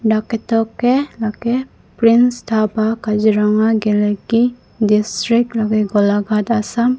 dak ketok ke lake prince dhaba kaziranga geleki district lake golaghat assam.